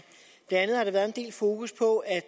blandt andet har der været en del fokus på at